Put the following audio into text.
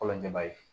Kɔlɔnjɛba ye